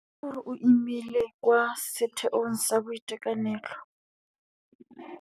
Netefatsa gore o imile kwa setheong sa boitekanelo.